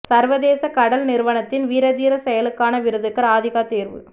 சர்வதேச கடல் நிறுவனத்தின் வீர தீரச் செயலுக்கான விருதுக்கு ராதிகா தேர்வு